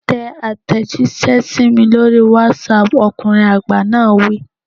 Tẹ àtẹ̀jíṣẹ́ sí mi lórí WhatsApp, ọkùnrin àgbà náà wí.